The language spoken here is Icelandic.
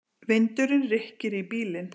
Vindurinn rykkir í bílinn.